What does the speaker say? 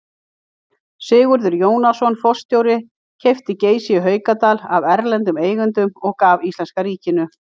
Sigurður Jónasson forstjóri keypti Geysi í Haukadal af erlendum eigendum og gaf íslenska ríkinu.